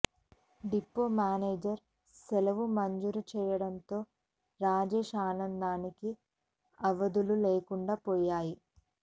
depot manager సెలవు మంజూరు చేయడంతో రాజేశ్ ఆనందానికి అవధులు లేకుండా పోయాయి